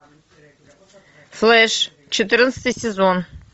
флеш четырнадцатый сезон